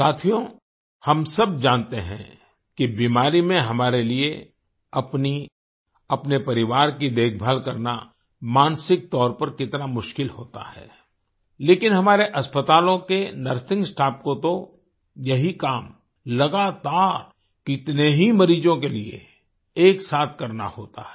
साथियो हम सब जानते हैं कि बीमारी में हमारे लिए अपनी अपने परिवार की देखभाल करना मानसिक तौर पर कितना मुश्किल होता है लेकिन हमारे अस्पतालों के नर्सिंग स्टाफ को तो यही काम लगातार कितने ही मरीजों के लिए एक साथ करना होता है